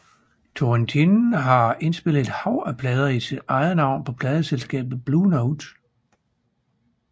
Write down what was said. Turrentine har indspillet et hav af plader i eget navn på pladeselskabet Blue Note